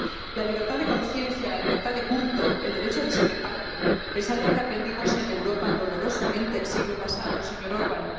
La libertad de conciencia, la libertad de culto, el derecho a discrepar es algo que aprendimos en Europa dolorosamente el siglo pasado, señor Orbán.